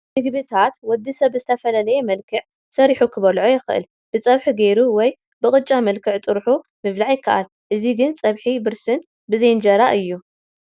ምግብታት ወዲ ሰብ ብዝተፈላለየ መልክዕ ሰሪሑ ክበልዖም ይኽእል፡፡ ብፀብሒ ገይሩ ወይ ብቅጫ መልክዕ ጥርሑ ምብላዕ ይካኣል፡፡ እዚ ግን ፀብሒ ብርስን ብዘይ እንጀራ እዩ፡፡